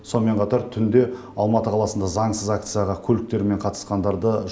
сонымен қатар түнде алматы қаласында заңсыз акцияға көліктермен қатысқандарды